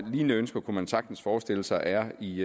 lignende ønsker kunne man sagtens forestille sig er i